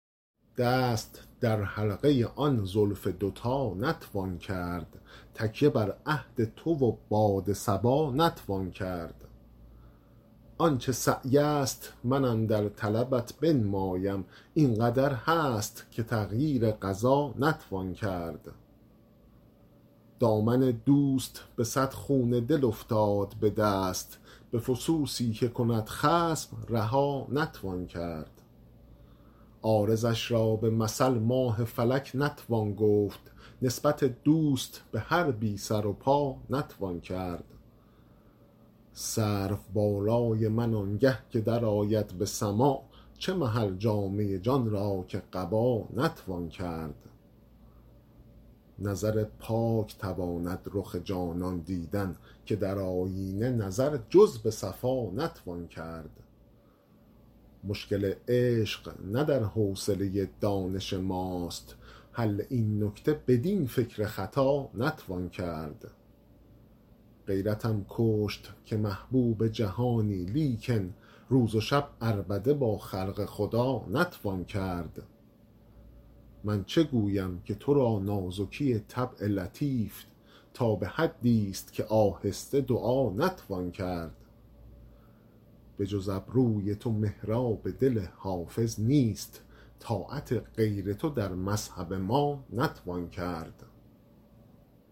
دست در حلقه آن زلف دوتا نتوان کرد تکیه بر عهد تو و باد صبا نتوان کرد آن چه سعی است من اندر طلبت بنمایم این قدر هست که تغییر قضا نتوان کرد دامن دوست به صد خون دل افتاد به دست به فسوسی که کند خصم رها نتوان کرد عارضش را به مثل ماه فلک نتوان گفت نسبت دوست به هر بی سر و پا نتوان کرد سرو بالای من آنگه که درآید به سماع چه محل جامه جان را که قبا نتوان کرد نظر پاک تواند رخ جانان دیدن که در آیینه نظر جز به صفا نتوان کرد مشکل عشق نه در حوصله دانش ماست حل این نکته بدین فکر خطا نتوان کرد غیرتم کشت که محبوب جهانی لیکن روز و شب عربده با خلق خدا نتوان کرد من چه گویم که تو را نازکی طبع لطیف تا به حدیست که آهسته دعا نتوان کرد بجز ابروی تو محراب دل حافظ نیست طاعت غیر تو در مذهب ما نتوان کرد